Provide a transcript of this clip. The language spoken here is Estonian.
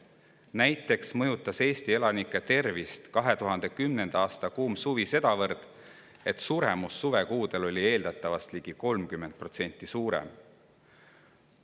Näiteks mõjutas 2010. aasta kuum suvi Eesti elanike tervist sedavõrd, et suremus suvekuudel oli eeldatavast suremusest ligi 30% suurem.